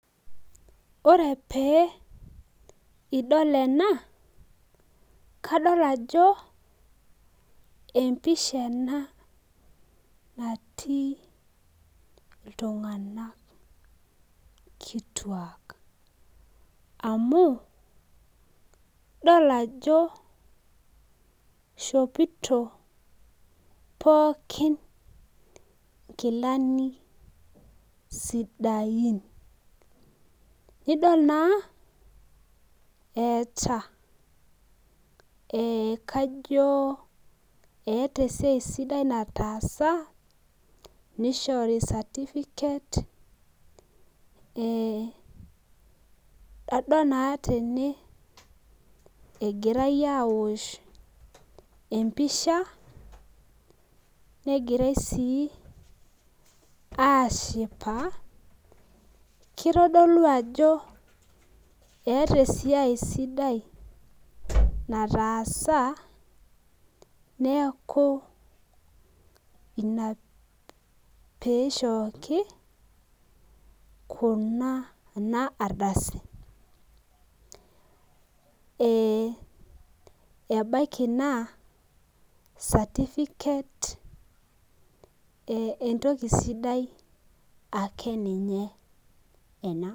Ore pee idol ena, kadol ajo empisha ena natii iltung'anak kituak. Amu, idol ajo ishopito pookin nkilani sidain. Nidol naa eeta kajo eeta esiai sidai nataasa nishori certificate, adol naa tene egirai awosh empisha, negirai si ashipa, kitodolu ajo eeta esiai sidai nataasa neeku ina pishoki kuna ardasi. Ebaiki naa certificate entoki sidai akeninye ena.